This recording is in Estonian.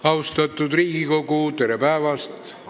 Austatud Riigikogu, tere päevast!